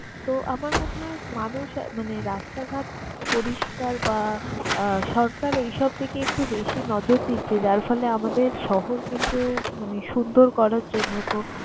তো, আমার মনে হয় মানুষ মানে রাস্তাঘাট পরিষ্কার বা আহ সরকার এইসব দিকে একটু বেশি নজর দিচ্ছে যার ফলে আমাদের শহর কিন্তু মানে সুন্দর করার জন্য। তো